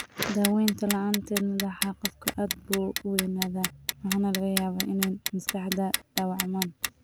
Daawaynta la'aanteed, madaxa qofku aad buu u weynaadaa, waxaana laga yaabaa inay maskaxda dhaawacmaan.